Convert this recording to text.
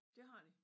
Dét har de?